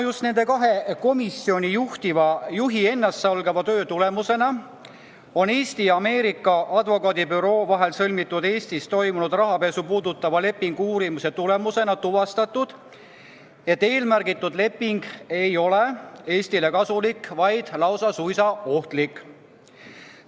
Just nende kahe komisjonijuhi ennastsalgava töö tulemusena on Eesti ja Ameerika advokaadibüroo vahel sõlmitud, Eestis toimunud rahapesu puudutava lepingu uurimise käigus tuvastatud, et eelmärgitud leping ei ole Eestile kasulik, vaid on suisa ohtlik.